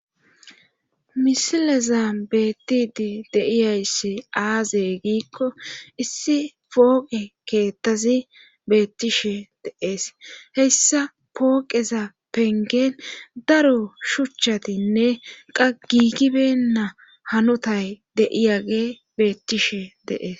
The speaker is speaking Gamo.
misileza beettidi deiyayssi aaze giikko issi pooqe keettazi beettishe deees heyssa pooqeza pengen daro shuchchatinne qagigibenna hanotay deiyage beettishe deees